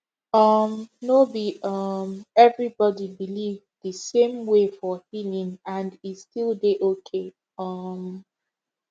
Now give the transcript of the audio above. um no be um everybody believe the same way for healing and e still dey okay um